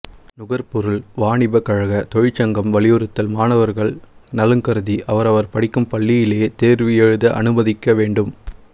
நுகர்பொருள் வாணிப கழக தொழிற்சங்கம் வலியுறுத்தல் மாணவர்கள் நலன் கருதி அவரவர் படிக்கும் பள்ளியிலேயே தேர்வு எழுத அனுமதிக்க வேண்டும்